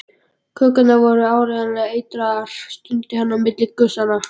Kökurnar voru áreiðanlega eitraðar stundi hann á milli gusanna.